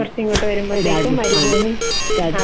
കുറച്ച് ഇങ്ങോട് വരുമ്പോഴത്തേക്കും മരുഭൂമി. അതെ.